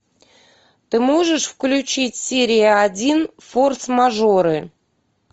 ты можешь включить серию один форс мажоры